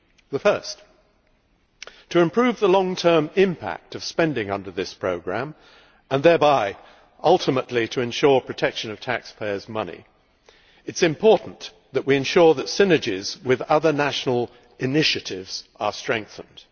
The first is that to improve the long term impact of spending under this programme and thereby ultimately to protect taxpayers' money it is important for us to ensure that synergies with other national initiatives are strengthened.